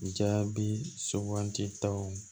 Jaabi suganditaw